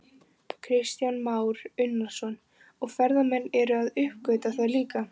Kristján Már Unnarsson: Og ferðamenn eru að uppgötva það líka?